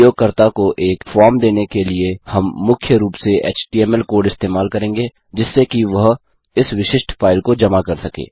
उपयोगकर्ता को एक फॉर्म देने के लिए हम मुख्य रूप से एचटीएमएल कोड इस्तेमाल करेंगे जिससे कि वह इस विशिष्ट फाइल को जमा कर सके